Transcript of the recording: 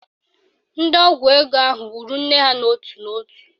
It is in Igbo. Ndị ọgwụ ego ahụ gburu nne ha n'ótù n'ótù